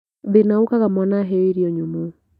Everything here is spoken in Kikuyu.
Thĩna ũkaga mwana aheo irio nyũmũ